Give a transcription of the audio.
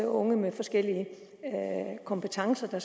unge med forskellige kompetencer